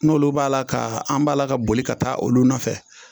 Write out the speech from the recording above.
N'olu b'a la ka an b'a la ka boli ka taa olu nɔfɛ